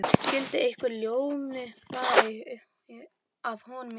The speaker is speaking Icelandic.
Skyldi einhver ljómi fara af honum í augum